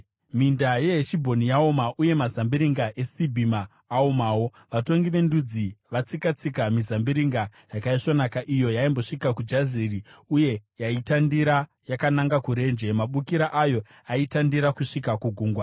Minda yeHeshibhoni yaoma uye mazambiringa eSibhima aomawo. Vatongi vendudzi vatsika-tsika mizambiringa yakaisvonaka, iyo yaimbosvika kuJazeri uye yaitandira yakananga kurenje. Mabukira ayo aitandira kusvika kugungwa.